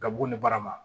Gabugu ni barama